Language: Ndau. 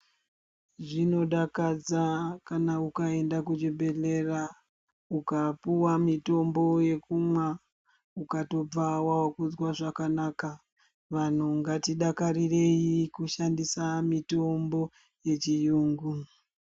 Zvino dakadza kana ukaenda ku chibhedhlera uka piwa mitombo ye kumwa ukatobva wakuzwa zvakanaka vanhu ngati dakarirei kushandisa mitombo ye chiyungu.